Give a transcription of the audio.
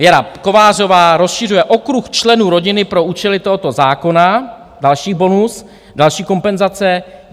Věra Kovářová rozšiřuje okruh členů rodiny pro účely tohoto zákona - další bonus, další kompenzace.